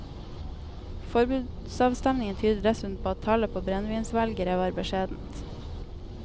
Forbudsavstemningen tyder dessuten på at tallet på brennevinsvelgere var beskjedent.